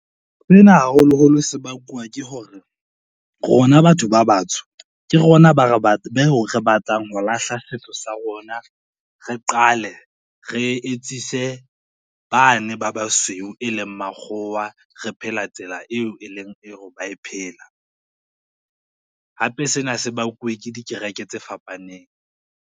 Sena, haholoholo sebakwa, ke hore rona batho ba batsho, ke rona beo re batlang ho lahla setso sa rona, re qale re etsise bane ba basweu e leng makgowa, re phela tsela eo e leng ba e phela hape sena se bakuwe ke dikereke tse fapaneng.